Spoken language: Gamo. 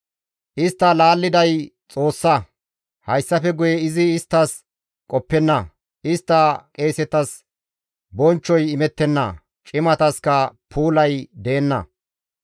Istta laalliday Xoossa; hayssafe guye izi isttas qoppenna; istta qeesetas bonchchoy imettenna; cimataska puulay deenna.